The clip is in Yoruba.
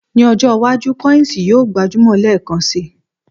Ní ọjọ́ iwájú, kọ́yìǹsì yóò gbajúmọ̀ lẹ́ẹ̀kan si.